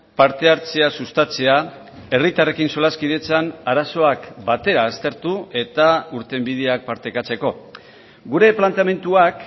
parte hartzea sustatzea herritarrekin solaskidetzan arazoak batera aztertu eta irtenbideak partekatzeko gure planteamenduak